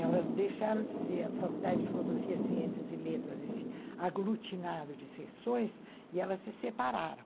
Elas deixaram de ser a Faculdade de Filosofia, Ciências e Letras, esse aglutinado de sessões, e elas se separaram.